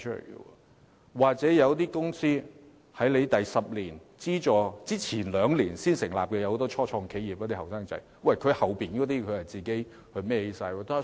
又或者有些公司在10年資助期屆滿前的兩年才成立，例如年輕人成立的初創企業，往後便要自行承擔所有費用。